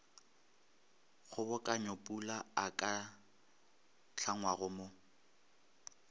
kgobokanyopula a ka hlangwago mo